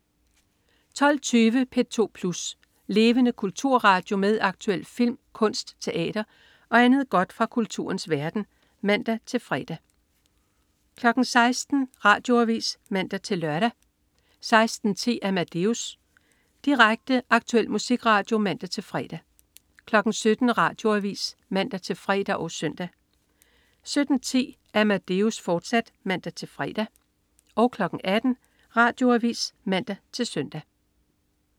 12.20 P2 Plus. Levende kulturradio med aktuel film, kunst, teater og andet godt fra kulturens verden (man-fre) 16.00 Radioavis (man-lør) 16.10 Amadeus. Direkte, aktuel musikradio (man-fre) 17.00 Radioavis (man-fre og søn) 17.10 Amadeus, fortsat (man-fre) 18.00 Radioavis (man-søn)